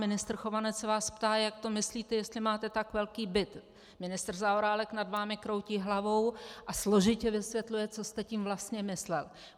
Ministr Chovanec se vás ptá, jak to myslíte, jestli máte tak velký byt, ministr Zaorálek nad vámi kroutí hlavou a složitě vysvětluje, co jste tím vlastně myslel.